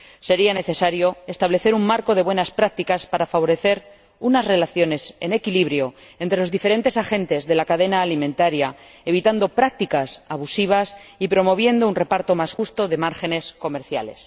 Sería necesario establecer un marco de buenas prácticas para favorecer unas relaciones equilibradas entre los diferentes agentes de la cadena alimentaria, evitando prácticas abusivas y promoviendo un reparto más justo de los márgenes comerciales.